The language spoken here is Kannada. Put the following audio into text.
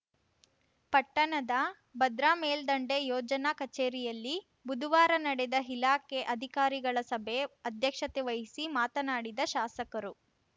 ಪಟ್ಟಣದ ಭದ್ರಾ ಮೇಲ್ದಂಡೆ ಯೋಜನಾ ಕಚೇರಿಯಲ್ಲಿ ಬುಧುವಾರ ನಡೆದ ಇಲಾಖೆ ಅಧಿಕಾರಿಗಳ ಸಭೆ ಅಧ್ಯಕ್ಷತೆ ವಹಿಸಿ ಮಾತನಾಡಿದ ಶಾಸಕರು